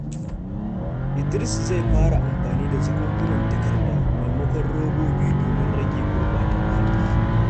Idris zai fara amfani da jakunkunan takarda maimakon robobi domin rage gurbata muhalli.